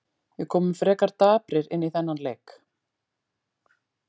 Við komum frekar daprir inn í þennan leik.